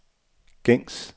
gængs